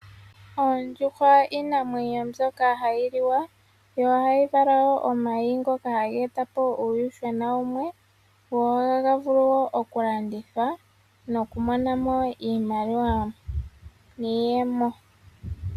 Oondjuhwa iinamwenyo mbyoka hayi liwa, yo ohayi vala wo omayi ngoka haga e ta po uuyuhwena wumwe, go ohaga vulu wo oku landithwa noku mona mo iimaliwa niiyemo.